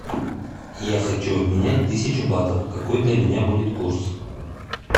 я хочу обменять тысячу батов какой для меня будет курс